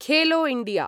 Khelo India